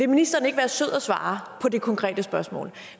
ministeren ikke være sød at svare på det konkrete spørgsmål